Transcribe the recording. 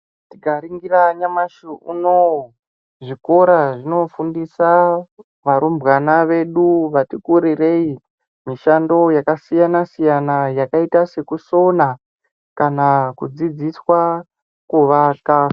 Tikaringira nyamashi unowu zvikora zvinofundisa varumbwana vedu vati kurirei mishando yakasiyana-siyana yakaita sekusona kana kudzidziswa kuvaka.